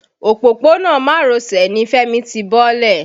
Òpópónà Marosè ni Fẹ́mi ti bọ́lẹ̀.